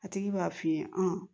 A tigi b'a f'i ye